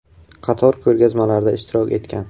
Qator ko‘rgazmalarda ishtirok etgan.